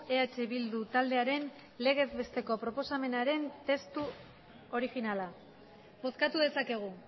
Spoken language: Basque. eh bildu taldearen legez besteko proposamenaren testu originala bozkatu dezakegu